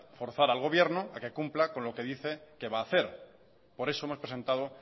forzar al gobierno a que cumpla con lo que dice que va a hacer por eso hemos presentado